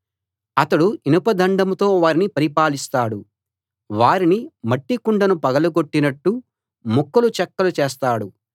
అతడు ఇనప దండంతో వారిని పరిపాలిస్తాడు వారిని మట్టి కుండను పగలగొట్టినట్టు ముక్కలు చెక్కలు చేస్తాడు